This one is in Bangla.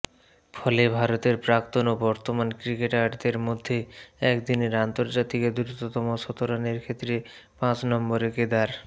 ফলে ভারতের প্রাক্তন ও বর্তমান ক্রিকেটারদের মধ্যে একদিনের আন্তর্জাতিকে দ্রুততম শতরানের ক্ষেত্রে পাঁচ নম্বরে কেদার